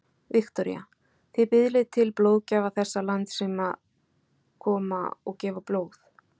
Viktoría: Þið biðlið til blóðgjafa þessa lands sem að koma og gefa blóð?